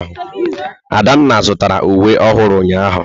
Adanna zụtara uwe ọhụrụ ụnyahụ.